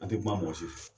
An tɛ kuma mɔgɔ si fɛ